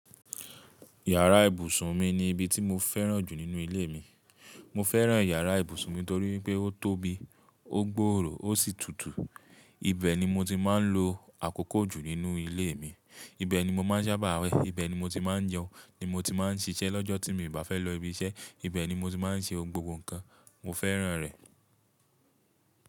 Yàrá ìbùsùn mi ni ibi tí mo fẹ́ràn jù nínú ilé mi. Mo fẹ́ràn yàrá ìbùsùn mi torí pé ó tóbi, ó gbòòrò ó sì tutù. Ibẹ̀ ni mo ti máa ń lo àkókò jù nínú ilé mi, ibẹ̀ ni mo máa ń sábà wẹ̀, ibẹ̀ ni mo ti máa ń jẹun, ibẹ̀ ni mo ti máa ń ṣiṣẹ́ lọ́jọ́ tí mo bá fẹ́ lọ ibiṣẹ́, ibẹ̀ ni mo ti máa ń ṣe gbogbo nǹkan. Mo fẹ́ràn rẹ̀.